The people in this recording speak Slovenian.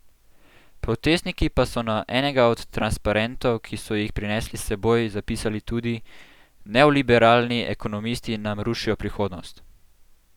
Protestniki pa so na enega od transparentov, ki so jih prinesli s seboj, zapisali tudi: "Neoliberalni ekonomisti nam rušijo prihodnost".